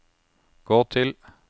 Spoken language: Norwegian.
gå til